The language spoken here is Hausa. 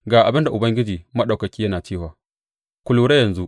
Ga abin da Ubangiji Maɗaukaki yana cewa, Ku lura yanzu!